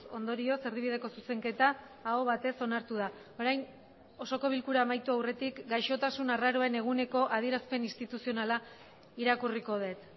ondorioz erdibideko zuzenketa aho batez onartu da orain osoko bilkura amaitu aurretik gaixotasun arraroen eguneko adierazpen instituzionala irakurriko dut